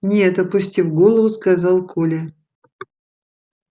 нет опустив голову сказал коля